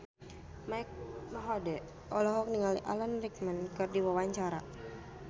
Mike Mohede olohok ningali Alan Rickman keur diwawancara